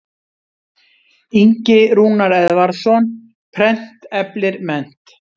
Ingi Rúnar Eðvarðsson, Prent eflir mennt.